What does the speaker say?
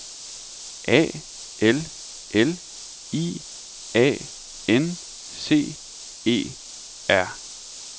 A L L I A N C E R